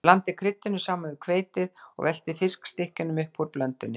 Blandið kryddinu saman við hveitið og veltið fiskstykkjunum upp úr blöndunni.